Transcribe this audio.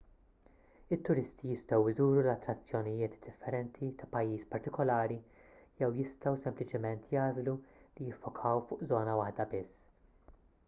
it-turisti jistgħu jżuru l-attrazzjonijiet differenti ta' pajjiż partikulari jew jistgħu sempliċement jagħżlu li jiffokaw fuq żona waħda biss